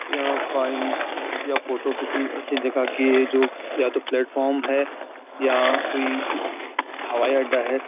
या फाइल या फोटो किसी ऐसी जगह की है जो या तो प्लेटफॉर्म है या कोई हवाई अड्डा है।